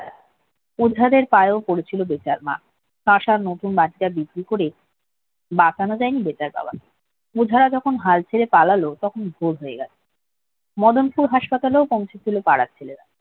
ওঝাদের পায়েও পড়েছিল বেতার মা। পাশা নতুন বাড়িটা বিক্রি করে বাঁচানো যায়নি বেতার বাবাকে। ওঝারা যখন হাল ছেড়ে পালালো তখন ভোর হয়ে গেল মদনপুর হাসপাতালেও পৌঁছেছিল পাড়ার ছেলেরা